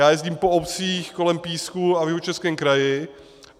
Já jezdím po obcích kolem Písku a v Jihočeském kraji.